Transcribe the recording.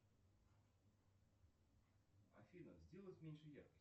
афина сделать меньше яркость